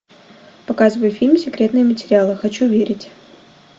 показывай фильм секретные материалы хочу верить